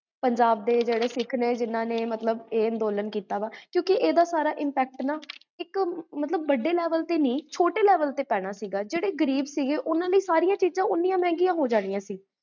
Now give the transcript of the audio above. ਵੇਰ